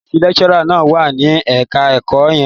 Ọ́fíísì lecturer náà wà ní ẹ̀ka-ẹ̀kọ́ yẹn.